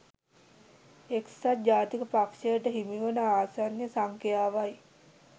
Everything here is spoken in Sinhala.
එක්සත් ජාතික පක්ෂයට හිමිවන ආසන සංඛ්‍යාවයි